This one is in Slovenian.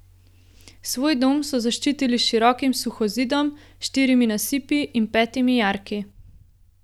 Svoj dom so zaščitili s širokim suhozidom, štirimi nasipi in petimi jarki.